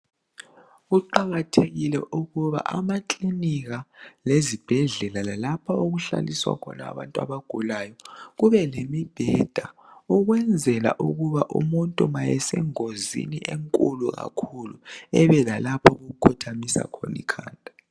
Kuqakathekile ukuba amaklinika lezibhedlela lalapho okuhlaliswa khona abantu abagulayo kube lemibheda ukwenzela ukuba umuntu ma esengozini enkulu kakhu ebe lapho akhothamisa khona ikhanda.